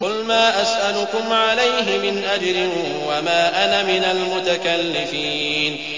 قُلْ مَا أَسْأَلُكُمْ عَلَيْهِ مِنْ أَجْرٍ وَمَا أَنَا مِنَ الْمُتَكَلِّفِينَ